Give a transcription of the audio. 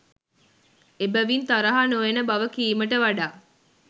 එබැවින් තරහ නොයන බව කීමට වඩා